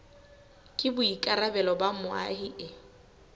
ke boikarabelo ba moahi e